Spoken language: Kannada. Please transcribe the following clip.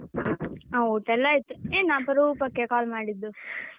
ಆ ಊಟ ಎಲ್ಲಾ ಆಯ್ತು. ಏನು ಅಪರೂಪಕ್ಕೆ call ಮಾಡಿದ್ದು?